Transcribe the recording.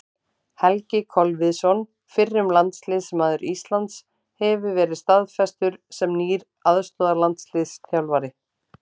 Helgi Kolviðsson, fyrrum landsliðsmaður Íslands, hefur verið staðfestur sem nýr aðstoðarlandsliðsþjálfari.